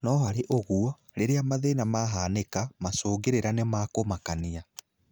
No harĩ ũguo, rĩrĩa mathina mahanĩka, macũngĩrĩra nĩma kũmakania.